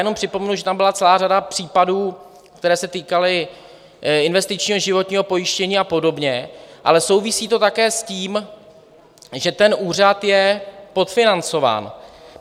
Jenom připomenu, že tam byla celá řada případů, které se týkaly investičního životního pojištění a podobně, ale souvisí to také s tím, že ten úřad je podfinancován.